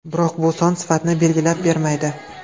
Biroq bu son sifatni belgilab bermaydi.